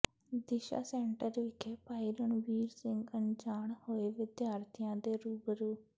ਦਿਸ਼ਾ ਸੈਂਟਰ ਵਿਖੇ ਭਾਈ ਰਣਬੀਰ ਸਿੰਘ ਅਨਜਾਣ ਹੋਏ ਵਿਦਿਆਰਥੀਆਂ ਦੇ ਰੂਬਰੂ